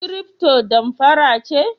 Kiriftpo damfara ce?